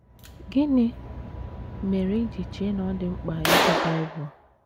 Gịnị mere i ji chee na ọ dị mkpa ịgụ Bible?